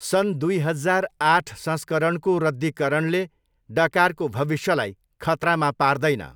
सन् दुई हजार आठ संस्करणको रद्दिकरणले डकारको भविष्यलाई खतरामा पार्दैन।